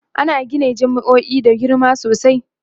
ana Gina jami'o'i da girma sosai